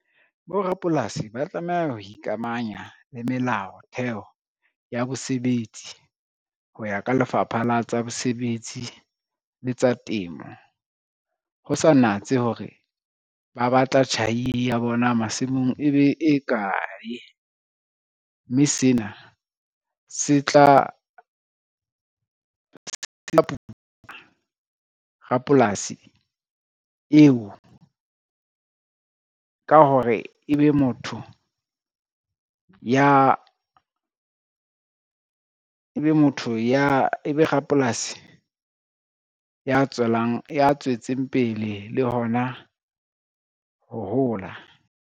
Borapolasi ba tlameha ho ikamahanya le melao theho ya bosebetsi, ho ya ka lefapha la tsa bosebetsi le tsa temo. Ho sa natse hore ba batla tjhai ya bona masimong e be e kae, mme sena se tla rapolasi eo ka hore ebe rapolasi ya tswetseng pele le hona ho hola.